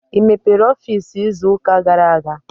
I mepere ọfiisi izu ụka gara aga?